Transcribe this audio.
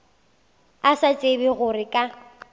a sa tsebe gore ka